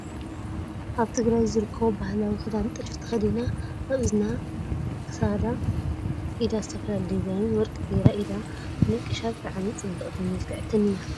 ኣብ ትግራይ ካብ ዝርከቡ ባህላዊ ክዳን ጥልፊ ተከዲና ኣብ እዝናን ክሳዳ፣ ኢዳ ዝተፈላለዩ ዲዛይን ወርቂ ገራ ኢዳ ተነቂሻ ብጣዕሚ ፅብቅትን ምልክዕትን እያ።